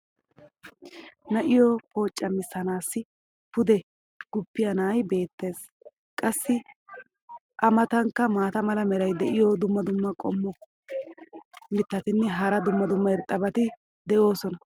na'iyo pooccamissanaassi pude guppiya na'ay beetees. qassi a matankka maata mala meray diyo dumma dumma qommo mitattinne hara dumma dumma irxxabati de'oosona.